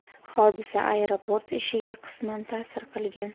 Hodisa aeroport ishiga qisman ta’sir qilgan.